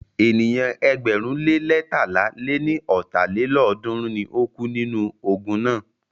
Ènìyàn ẹgbẹ̀rún le leétalá lé ní ọ́ta lélọ́ọ̀dúnrún ni o kú nínú ogun náà.